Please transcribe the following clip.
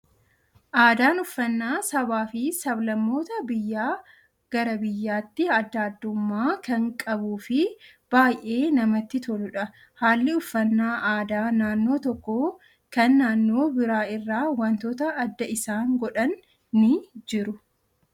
Aadaan uffaannaa sabaa fi sablammootaa biyyaa gara biyyaatti addaa addaummaa kan qabuu fi baayyee namatti toludha. Haalli uffannaa aadaa naannoo tokkoo kan naannoo biraa irraa waantota adda isaan godhan ni jiru.